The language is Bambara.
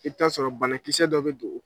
I bi t'a sɔrɔ banakisɛsɛ dɔ bɛ don.